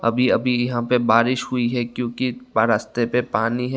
अभी अभी यहां पे बारिश हुई है क्योंकि बाहर रस्ते पे पानी है।